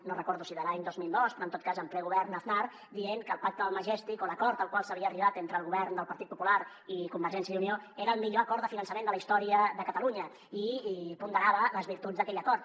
no recordo si de l’any dos mil dos però en tot cas en ple govern aznar dient que el pacte del majestic o l’acord al qual s’havia arribat entre el govern del partit popular i convergència i unió era el millor acord de finançament de la història de catalunya i ponderava les virtuts d’aquell acord